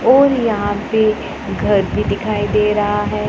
और यहां पे घर भी दिखाई दे रहा हैं।